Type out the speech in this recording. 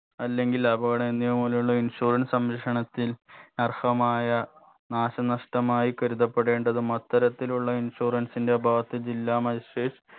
അല്ലെങ്കിൽ അപകടം എന്നിവ മൂലമുള്ള insurance സംരക്ഷണത്തിൽ അർഹമായ നാശനഷ്ടമായി കരുതപ്പെടേണ്ടതും അത്തരത്തിലുള്ള insurance ന്റെ ഭാഗത്തെ ജില്ലാ magistrate